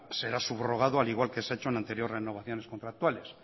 será subrogado al igual que se ha hecho en anteriores renovaciones contractuales